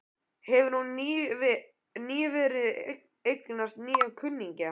Hefur hún nýverið eignast nýja kunningja?